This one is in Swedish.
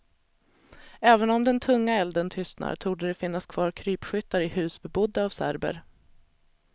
Även om den tunga elden tystnar, torde det finnas kvar krypskyttar i hus bebodda av serber.